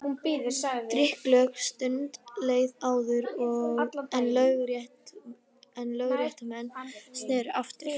Drykklöng stund leið áður en lögréttumenn sneru aftur.